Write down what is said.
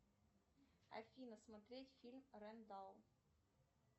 афина смотреть фильм рэндал